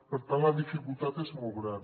per tant la dificultat és molt gran